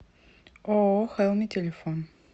ооо хелми телефон